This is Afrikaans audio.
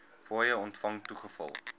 fooie ontvang toegeval